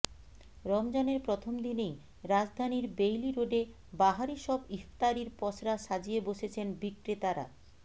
রমজানের প্রথম দিনেই রাজধানীর বেইলি রোডে বাহারি সব ইফতারির পসরা সাজিয়ে বসেছেন বিক্রেতারা